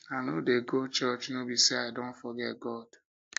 i know dey go church no be say i don forget god